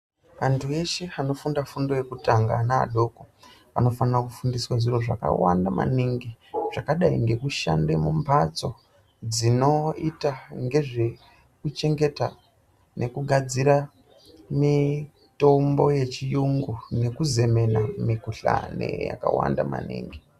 Antu eshe anofunda fundo yekutanga naadoko, anofanira kufundiswa zviro zvakawanda maningi zvakadai ngekushande mumbatso dzinoita ngezvekuchengeta nekugadzira mitombo yechiyungu nekuzemena mikuhlane yakawanda maningi.